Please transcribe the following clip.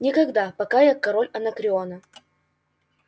никогда пока я король анакреона